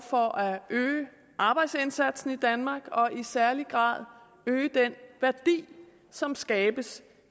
for at øge arbejdsindsatsen i danmark og i særlig grad at øge den værdi som skabes